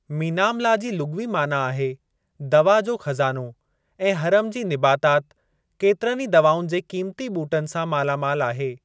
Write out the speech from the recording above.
मीनाम-ला जी लुग़वी माना आहे दवा जो ख़ज़ानो ऐं हरम जी निबातात केतिरनि ई दवाउनि जे क़ीमती ॿूटनि सां माला मालु आहे।